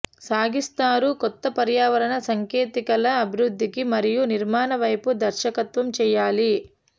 సాగిస్తారు కొత్త పర్యావరణ సాంకేతికతల అభివృద్ధికి మరియు నిర్మాణ వైపు దర్శకత్వం చేయాలి